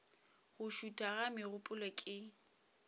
go šutha ga megopolo ke